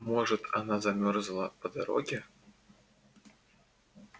может замёрзла по дороге